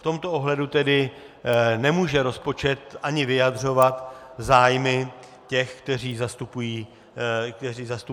V tomto ohledu tedy nemůže rozpočet ani vyjadřovat zájmy těch, které zastupuje klub KSČM.